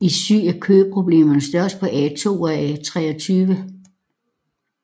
I syd er køproblemerne størst på A2 og A23